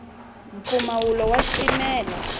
mpfumawulo wa xitimela